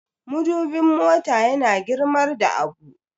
madubin mota yana girmar da abu